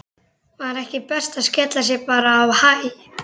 Var ekki best að skella sér bara á Hæ?